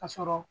Ka sɔrɔ